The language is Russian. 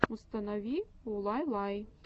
установи улайлай